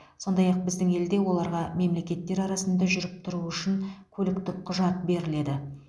сондай ақ біздің елде оларға мемлекеттер арасында жүріп тұруы үшін көліктік құжат беріледі